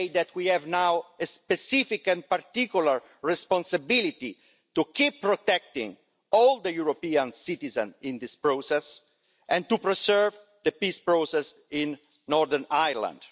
We have a specific and particular responsibility to keep protecting all the European citizens in this process and to preserve the peace process in Northern Ireland.